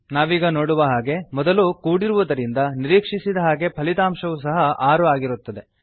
ನಾವೀಗ ನೋಡುವ ಹಾಗೆ ಮೊದಲು ಕೂಡಿರುವುದರಿಂದ ನಿರೀಕ್ಷಿಸಿದ ಹಾಗೆ ಫಲಿತಾಂಶವು ಸಹ 6 ಆಗಿರುತ್ತದೆ